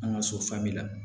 An ka so la